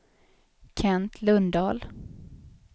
Kent Lundahl